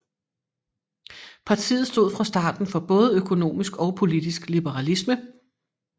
Partiet stod fra starten for både økonomisk og politisk liberalisme